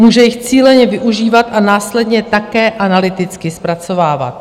Může jich cíleně využívat a následně také analyticky zpracovávat.